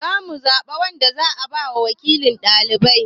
Za mu zaɓa wanda za a ba wakilin ɗalibai.